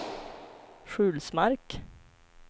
Sjulsmark